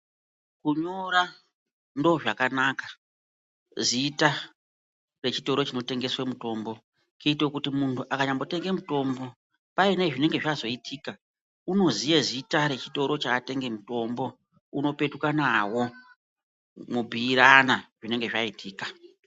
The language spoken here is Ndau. Kunyora ndozvakanaka zita rechitoro chinotengeswa mutombo kuita kuti nyangwe muntu akatenga mutombo pane zvazoitika unoziya zita rechitoro chatenga mutombo unopetuka nawo mobhiirana zvinenge zvaitika.